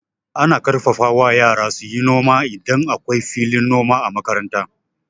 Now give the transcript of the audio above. Ana ƙarfafa wa yara suyi noma idan akwai filin noma a makaranta.